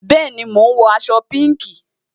Bẹẹni, mo ń wọ aṣọ pinki